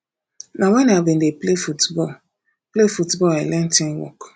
na wen i bin dey play football play football i learn teamwork